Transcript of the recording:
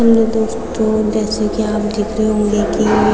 hello दोस्तों जैसे की आप देख रहे होंगे की --